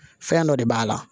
Fɛn dɔ de b'a la